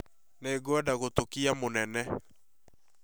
Nĩngwenda gũtuĩka mũnene